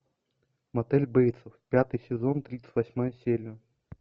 мотель бейтсов пятый сезон тридцать восьмая серия